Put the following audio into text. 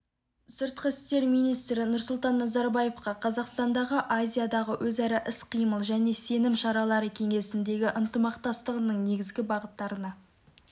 сыртқы істер министрі нұрсұлтан назарбаевқа қазақстанның азиядағы өзара іс-қимыл және сенім шаралары кеңесіндегі ынтымақтастығының негізгі бағыттарына